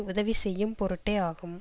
உதவி செய்யும் பொருட்டே ஆகும்